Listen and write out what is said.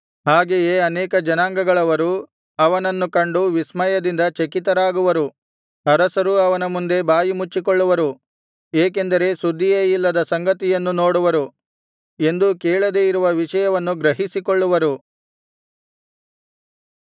ಹಾಗೆಯೇ ಅನೇಕ ಜನಾಂಗಗಳವರು ಅವನನ್ನು ಕಂಡು ವಿಸ್ಮಯದಿಂದ ಚಕಿತರಾಗುವರು ಅರಸರೂ ಅವನ ಮುಂದೆ ಬಾಯಿಮುಚ್ಚಿಕೊಳ್ಳುವರು ಏಕೆಂದರೆ ಸುದ್ದಿಯೇ ಇಲ್ಲದ ಸಂಗತಿಯನ್ನು ನೋಡುವರು ಎಂದೂ ಕೇಳದೇ ಇರುವ ವಿಷಯವನ್ನು ಗ್ರಹಿಸಿಕೊಳ್ಳುವರು